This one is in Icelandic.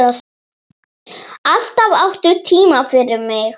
Alltaf áttu tíma fyrir mig.